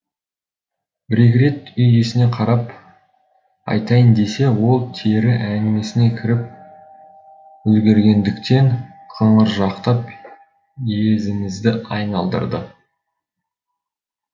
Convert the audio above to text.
бір екі рет үй иесіне қарап айтайын десе ол тері әңгімесіне кіріп үлгергендіктен қыңыржақтап езімізді айналдырды